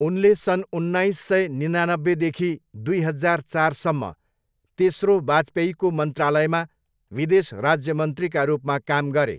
उनले सन् उन्नाइस सय निनानब्बेदेखि दुई हजार चारसम्म तेस्रो वाजपेयीको मन्त्रालयमा विदेश राज्य मन्त्रीका रूपमा काम गरे।